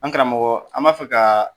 An karamɔgɔ, an b'a fɛ ka